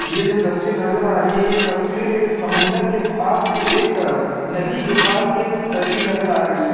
ये जो तस्वीर नजर आ रही है ए तस्वीर एक समंदर के पास एक नदी के पास की एक तस्वीर नजर सराही है।